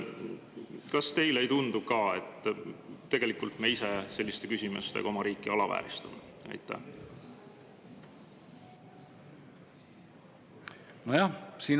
Kas ka teile ei tundu, et me ise selliste küsimustega alavääristame oma riiki?